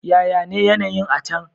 Yaya ne yanayi'n a' can?